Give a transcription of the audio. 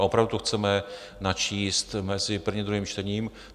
A opravdu to chceme načíst mezi prvním a druhým čtením.